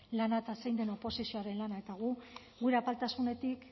lana eta zein den oposizioaren lana eta gu gure apaltasunetik